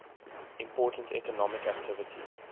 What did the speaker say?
important economic activity